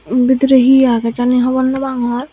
bidire he agey jani hobor no pangor.